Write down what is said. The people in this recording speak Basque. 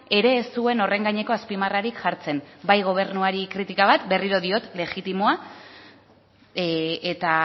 ere ez zuen horren gaineko azpimarrarik jartzen bai gobernuari kritika bat berriro diot legitimoa eta